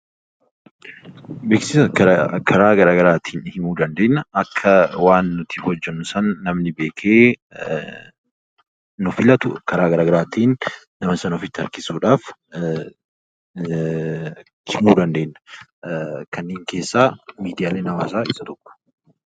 Beeksisa karaa gara garaatiin himuu ni dandeenya. Akka waan nuti hojjennu sana namni beekee nu filatu karaa gara garaatiin nama sana ofitti harkisuudhaaf himuu dandeenya . Kanneen keessaa miidiyaaleen hawwaasaa isaan tokko.